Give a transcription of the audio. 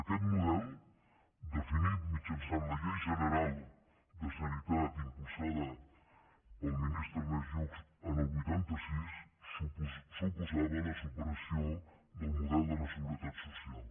aquest model definit mitjançant la llei general de sanitat impulsada pel ministre ernest lluch en el vuitanta sis suposava la supressió del model de la seguretat social